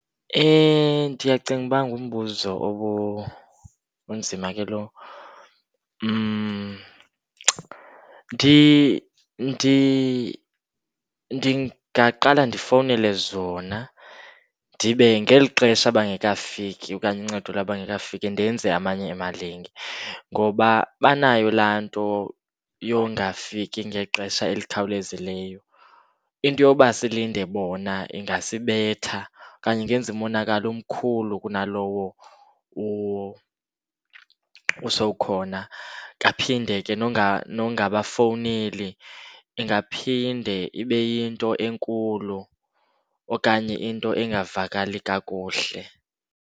Ndiyacinga uba ngumbuzo onzima ke lo. Ndingaqala ndifowunele zona, ndibe ngelixesha bengekafiki okanye uncedo lwabo lungekafiki ndenze amanye emalinge ngoba banayo laa nto yongafiki ngexesha elikhawulezileyo. Into yoba silinde bona ingasibetha okanye ingenza umonakalo omkhulu kwanalowo usowukhona. Kaphinde ke nongabafowuneli ingaphinde ibe yinto enkulu okanye into engavakali kakuhle.